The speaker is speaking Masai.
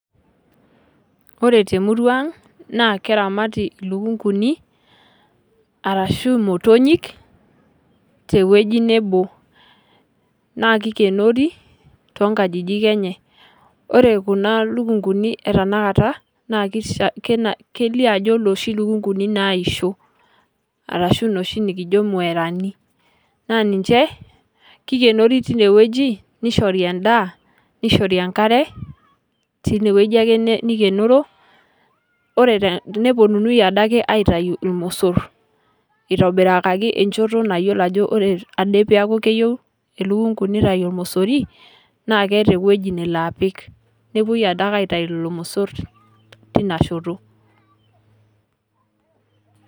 Ore te emurua ang' naa kiramat ilukung'uni, arashu imotonyik, te ewueji nebo. Naa keikenori, too inkajijik enye. Ore kuna lukung'uni ena kata, naa keluo ajo nooshi lukug'uni naisho. Arashu noshi nekijo mwerani, naa ninche, keikenori teine wueji, neishori endaa, neishori enkare teine wueji ake neikenoro, nepuonuni ade ake aitayu ilmosor, eitobirakaki enchoto eyiolo ajo ore ade ake peaku keyou elukung'u neitayu olmosori, naa keata ewueji nalo apik, newuoi ade ake aitayu lelo mosor teinashoto.